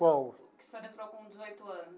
Qual? Que o senhor entrou com dezoito anos.